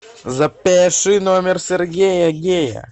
запиши номер сергея гея